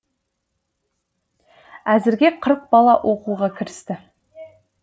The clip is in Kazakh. әзірге қырық бала оқуға кірісті